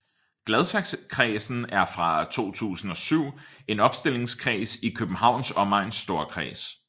Gladsaxekredsen er fra 2007 en opstillingskreds i Københavns Omegns Storkreds